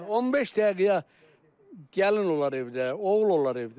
15 dəqiqəyə gəlin olar evdə, oğul olar evdə.